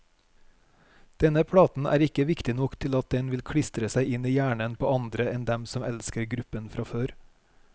Denne platen er ikke viktig nok til at den vil klistre seg i hjernen på andre enn dem som elsker gruppen fra før.